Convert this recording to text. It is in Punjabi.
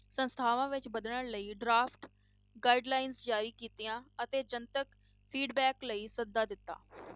ਸੰਸਥਾਵਾਂ ਵਿੱਚ ਬਦਲਣ ਲਈ draft guidelines ਜ਼ਾਰੀ ਕੀਤੀਆਂ ਅਤੇ ਜਨਤਕ feedback ਲਈ ਸੱਦਾ ਦਿੱਤਾ